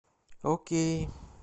окей